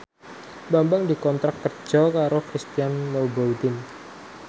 Bambang dikontrak kerja karo Christian Louboutin